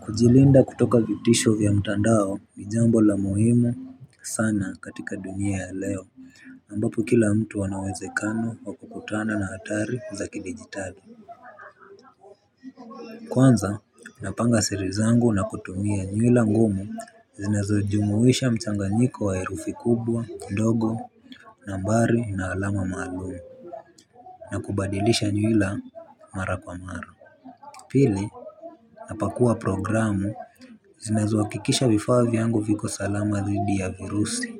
Kujilinda kutoka vitisho vya mtandao ni jambo la muhimu sana katika dunia ya leo ambapo kila mtu ana uwezekano wa kukutana na hatari za kidijitali. Kwanza unapanga siri zangu na kutumia nywila ngumu zinazo jumuisha mchanganyiko wa herufi kubwa ndogo nambari na alama maalum na kubadilisha nywila mara kwa mara. Pili napakuwa programu zinazo hakikisha vifaa vyangu viko salama dhidi ya virusi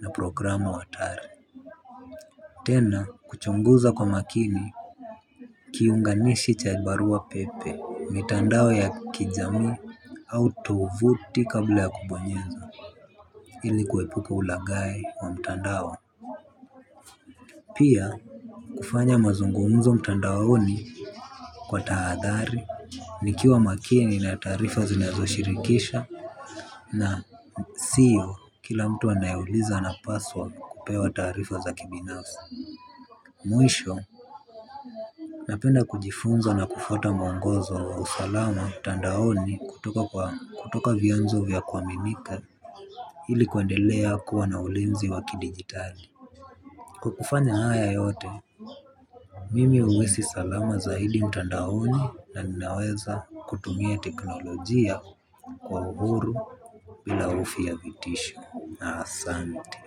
na programu hatari. Tena kuchunguza kwa makini kiunganishi cha barua pepe mitandao ya kijami au tovuti kabla ya kubonyeza ili kuepuka ulaghai wa mtandao. Pia kufanya mazungumzo mtandaoni kwa tahadhari nikiwa makini na taarifa zinazo shirikisha na sio kila mtu anayouliza napaswa kupewa taarifa za kibinafsi. Mwisho napenda kujifunza na kufwata mwongozo wa usalama mtandaoni kutoka kwa kutoka vyanzo vya kuaminika ili kuendelea kuwa na ulinzi wa kidijitali kukufanya haya yote. Mimi huwesi salama zaidi mtandaoni na ninaweza kutumia teknolojia kwa uhuru bila hofu ya vitisho na asante.